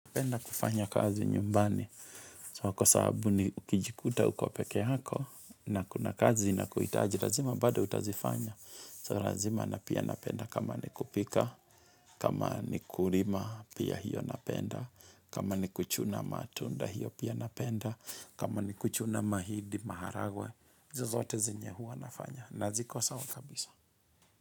Penda kufanya kazi nyumbani, so kwa sababu ni ukijikuta ukopekee yako, na kuna kazi na kuhitaji, razima bado utazifanya, so razima napia napenda kama ni kupika, kama ni kurima pia hiyo napenda, kama ni kuchuna matunda hiyo pia napenda, kama ni kuchuna mahindi maharagwe, hizo zote zinye hua nafanya, naziko sa wa kabisa.